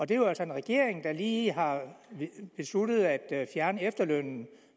det er jo altså en regering der lige har besluttet at fjerne efterlønnen